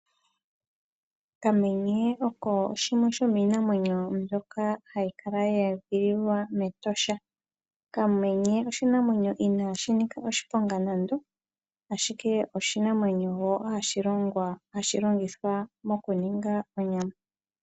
Okamenye oko shimwe komiinamwenyo mbyoka hayi kala yeedhililwa mEtosha. Okamenye oshinamwenyo inaashi nika oshiponga nando ashike oshinamwenyo woo hashi longithwa moku ninga onyama.